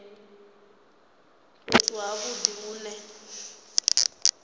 fhethu ha vhudi hu ne